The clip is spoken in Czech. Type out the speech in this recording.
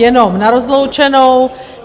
Jenom na rozloučenou.